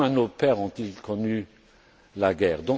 Au moins nos pères ont ils connu la guerre.